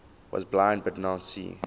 was blind but now see